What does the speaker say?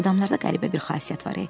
Adamlarda qəribə bir xasiyyət var e.